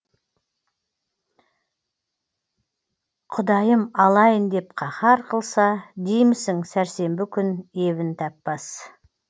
құдайым алайын деп қаһар қылса деймісің сәрсенбі күн ебін таппас